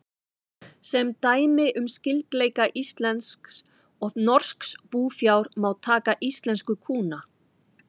Sem dæmi um skyldleika íslensks og norsks búfjár má taka íslensku kúna.